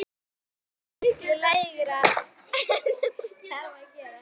Þær leggjast miklu lægra en hún þarf að gera.